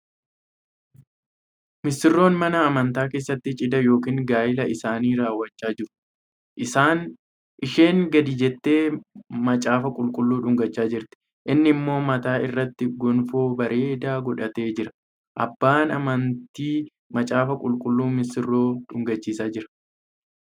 Misiroonni mana amantaa keessatti cidha yookiin gaa'ila isaanii raawwachaa jiru. Isheen gadi jettee macaafa qulqulluu dhungacha jirti. Inni immoo mataa irratti gonfoo bareedaa godhatee jira. Abbaan amanatii macaafa qulqulluu misirroo dhungachiisaa jira.